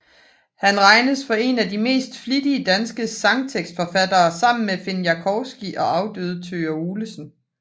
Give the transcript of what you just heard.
Han regnes for én af de mest flittige danske sangtekstforfattere sammen med Fini Jaworski og afdøde Thøger Olesen